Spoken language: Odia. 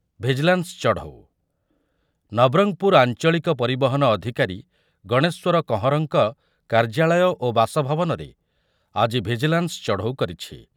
ଭିଜିଲାନ୍ସ, ଚଢ଼ଡ ନବରଙ୍ଗପୁର ଆଞ୍ଚଳିକ ପରିବହନ ଅଧୂକାରୀ ଗଣେଶ୍ୱର କହଁରଙ୍କ କାର୍ଯ୍ୟାଳୟ ଓ ବାସଭବନରେ ଆଜି ଭିଜିଲାନ୍ସ ଚଢ଼ଉ କରିଛି ।